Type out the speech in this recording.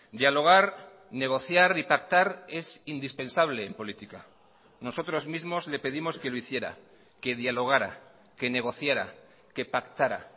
dialogar negociar y pactar es indispensable en política nosotros mismos le pedimos que lo hiciera que dialogara que negociara que pactara